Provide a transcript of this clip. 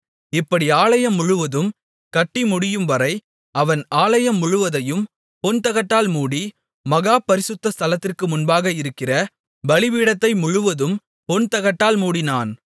இப்படி ஆலயம் முழுவதும் கட்டிமுடியும்வரை அவன் ஆலயம் முழுவதையும் பொன்தகட்டால் மூடி மகா பரிசுத்த ஸ்தலத்திற்கு முன்பாக இருக்கிற பலிபீடத்தை முழுவதும் பொன்தகட்டால் மூடினான்